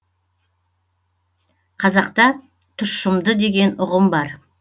қазақта тұщымды деген ұғым бар